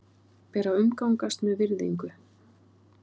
Ber að umgangast með virðingu.